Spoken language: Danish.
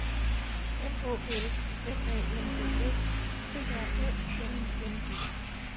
M Å L M A N D S T R Æ N I N G